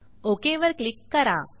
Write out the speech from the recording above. okay वर click करा